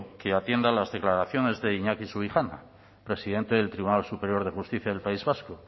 que atienda a las declaraciones de iñaki subijana presidente del tribunal superior de justicia del país vasco